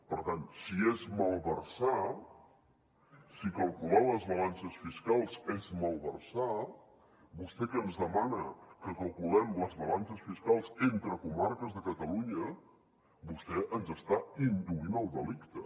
per tant si és malversar si calcular les balances fiscals és malversar vostè que ens demana que calculem les balances fiscals entre comarques de catalunya vostè ens està induint al delicte